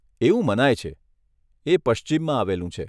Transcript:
એવું મનાય છે, એ પશ્ચિમમાં આવેલું છે.